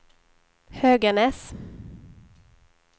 Höganäs